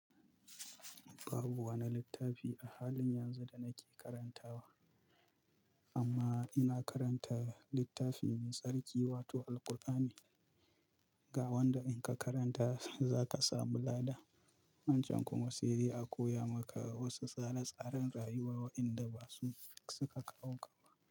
Babu wani littafi a halin yanzu da nake karantawa. Amma ina karanta littafin tsarki wato Al-Ƙur'ani. Ga wanda in ka karanta za ka sami lada. Wancan kuma sai dai a koya maka wasu tsare-tsaren rayuwa waɗanda ba su suka kawo ka ba.